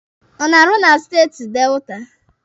Ọ na-arụ na steeti Delta?